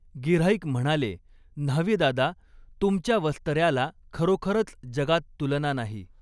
गिऱ्हाईक म्हणाले, न्हावीदादा, तुमच्या वस्तऱ्याला खरोखरच जगात तुलना नाही.